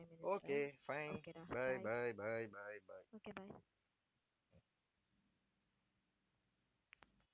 okay fine bye bye bye bye bye